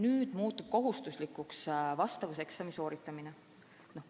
Nüüd muutub kohustuslikuks vastavuseksami sooritamine.